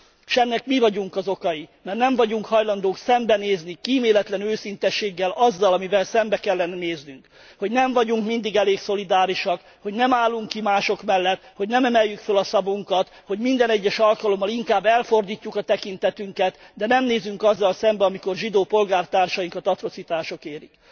S ennek mi vagyunk az okai, mert nem vagyunk hajlandók szembenézni kíméletlen őszinteséggel azzal, amivel szembe kellene néznünk hogy nem vagyunk mindig elég szolidárisak, hogy nem állunk ki mások mellett, hogy nem emeljük fel a szavunkat, hogy minden egyes alkalommal inkább elfordítjuk a tekintetünket, de nem nézünk azzal szembe, amikor zsidó polgártársainkat atrocitások érik.